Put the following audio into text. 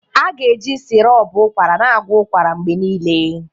A ga-eji sirop ụkwara na-agwọ ụkwara mgbe niile.